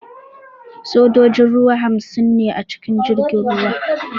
Sojojin ruwa hamsin ne a cikin jirgin ruwan